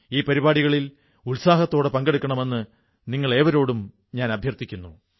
ഈ പരിപാടികളിൽ ഉത്സാഹത്തോടെ പങ്കെടുക്കണമെന്ന് നിങ്ങളേടവരോടും ഞാൻ അഭ്യർഥിക്കുന്നു